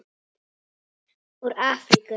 Úr Afríku!